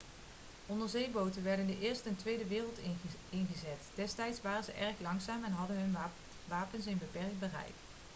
onderzeeboten werden in de eerste en tweede wereldoorlog ingezet destijds waren ze erg langzaam en hadden hun wapens een beperkt bereik